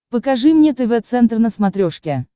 покажи мне тв центр на смотрешке